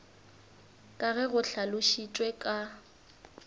ka ge go hlalošitšwe ka